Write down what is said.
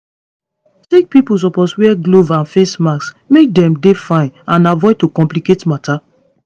sick pipo suppose wear gloves and face masks make dem dey fine and avoid to complicate matter